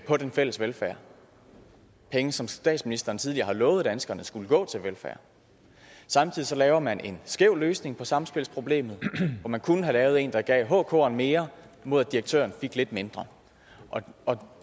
på den fælles velfærd penge som statsministeren tidligere har lovet danskerne skulle gå til velfærd samtidig laver man en skæv løsning på samspilsproblemet og man kunne have lavet en der gav hkeren mere mod at direktøren fik lidt mindre og